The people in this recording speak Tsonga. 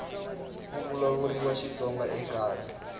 ku vulavuriwa xitsonga ekaya